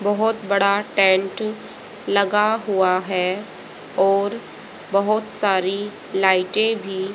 बहोत बड़ा टेंट लगा हुआ है और बहोत सारी लाइटे भी--